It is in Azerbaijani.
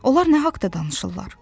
Onlar nə haqda danışırlar?